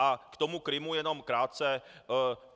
A k tomu Krymu jenom krátce.